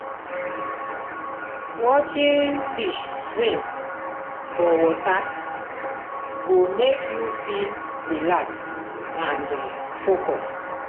watching fish swim for water go make you feel relaxed and focused.